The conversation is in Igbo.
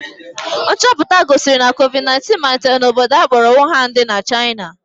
Nchọpụta gosiri na covid 19 malitere n'obodo a kpọrọ Wuhan dị na China